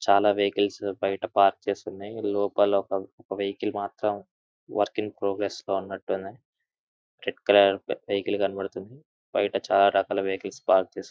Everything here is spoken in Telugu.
చాలా వెహికల్స్ బయట పార్క్ చేసి ఉన్నాయ్. లోపల ఒక వెహికల్ మాత్రం వర్కింగ్ ప్రోగ్రెస్ లో ఉన్నట్టు ఉంది. రెడ్ కలర్ వెహికల్ కనపడుతుంది. బయట చాలా రకాల వెహికల్స్ పార్క్ చేసి--